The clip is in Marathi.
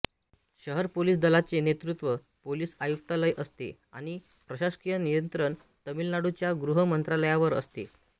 शहर पोलिस दलाचे नेतृत्व पोलिस आयुक्तालय असते आणि प्रशासकीय नियंत्रण तामिळनाडूच्या गृह मंत्रालयावर असते